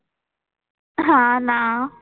हां ना.